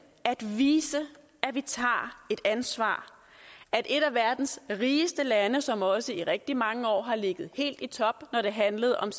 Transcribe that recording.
vi viser at vi tager et ansvar at et af verdens rigeste lande som også i rigtig mange år har ligget helt i top når det handlede om